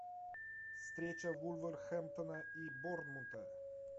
встреча вулверхэмптона и борнмута